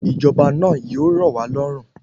Ìjọba náà yíò rọ̀ wá lọ́rùn